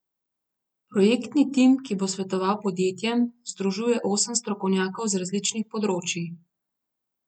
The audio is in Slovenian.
Projektni tim, ki bo svetoval podjetjem, združuje osem strokovnjakov z različnih področij.